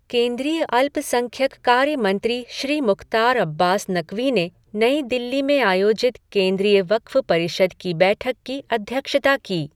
केंद्रीय अल्पसंख्यक कार्य मंत्री श्री मुख्तार अब्बास नकवी ने नई दिल्ली में आयोजित केन्द्रीय वक्फ़ परिषद की बैठक की अध्यक्षता की।